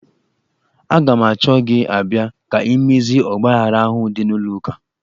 Aga m achọ gị abịa ka imezie ọgbaaghara ahụ dị n'ụlọ ụka.